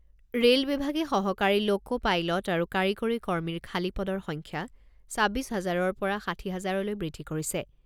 Rail বিভাগে সহকাৰী loco pilot আৰু কাৰিকৰী কৰ্মীৰ খালী পদৰ সংখ্যা ছাব্বিছ হাজাৰৰ পৰা ষাঠি হাজাৰলৈ বৃদ্ধি কৰিছে।